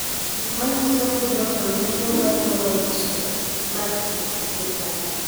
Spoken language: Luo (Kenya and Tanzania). Gik manyiso ni Groenouw nigi tuo mar "corneal dystrophy" mar kit I gin mage?